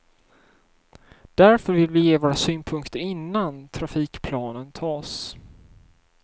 Därför vill vi ge våra synpunkter innan trafikplanen tas.